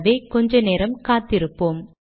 ஆகவே கொஞ்ச நேரம் காத்திருப்போம்